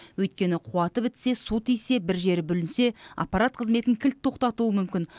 өйткені қуаты бітсе су тисе бір жері бүлінсе аппарат қызметін кілт тоқтатуы мүмкін